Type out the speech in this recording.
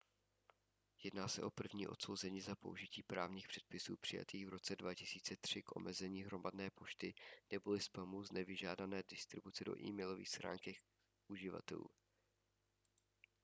jedná se o první odsouzení za použití právních předpisů přijatých v roce 2003 k omezení hromadné pošty neboli spamu z nevyžádané distribuce do e-mailových schránek uživatelů